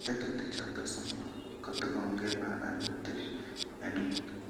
Tetuti choton somok kotokongei pananutit nenin